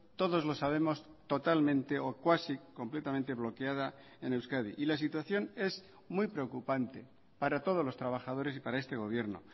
todos lo sabemos totalmente o cuasi completamente bloqueada en euskadi y la situación es muy preocupante para todos los trabajadores y para este gobierno